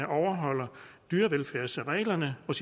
overholder dyrevelfærdsreglerne og